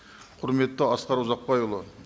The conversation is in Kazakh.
құрметті асқар ұзақбайұлы